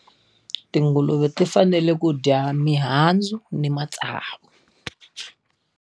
Tinguluve ti fanele ku dya mihandzu na matsavu.